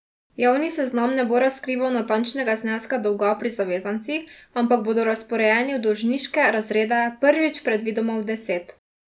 Javni seznam ne bo razkrival natančnega zneska dolga pri zavezancih, ampak bodo razporejeni v dolžniške razrede, prvič predvidoma v deset.